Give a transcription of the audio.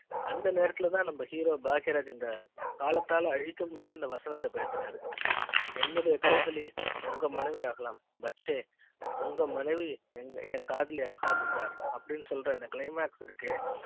அந்த நேரத்துல தான் நம்ம hero பாக்கியராஜ் இந்த காலத்தால் அழிக்க முடியாத இந்த வசனத்தை பேசறாரு என்னுடைய காதலி உங்க மனைவி ஆகலாம் பச்சை உங்க மனைவி என் காதலி ஆகாது சார் அப்டினு சொல்ற அந்த claimax இருக்கே